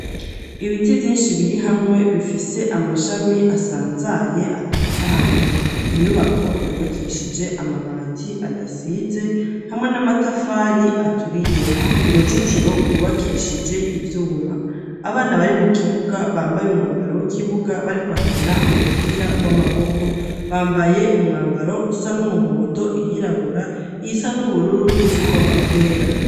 Ibiti vyinshi, biri hamwe, bifise amashami asanzaye atotahaye; inyubako yubakishije amabati adasize, hamwe n'amatafari aturiye; uruzitiro rwubakishije ivyuma; abana bari mu kibuga bambaye umwambaro w'ikibuga, bariko bakina umupira w'amaboko, bambaye umwambaro usa n'umuhondo, iyirabura, iyisa n'ubururu, n'izigomba kwera.